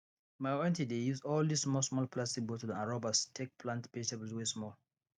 my aunty dey use all dis small small plastic bottle and rubbers take plant vegetables wey small